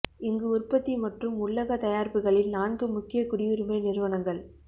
இங்கு உற்பத்தி மற்றும் உள்ளக தயாரிப்புகளில் நான்கு முக்கிய குடியுரிமை நிறுவனங்கள்